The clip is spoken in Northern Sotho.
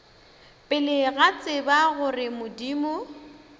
pele ba tseba gore modimo